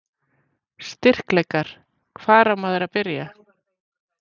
Styrkleikar: Hvar á maður að byrja?